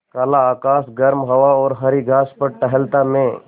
काला आकाश गर्म हवा और हरी घास पर टहलता मैं